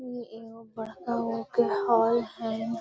इ एगो बड़का गो के हेय हेय।